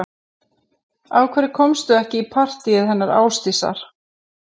Af hverju komstu ekki í partíið hennar Ásdísar